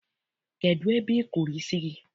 Kedụ ebe I kụrụ isi gị?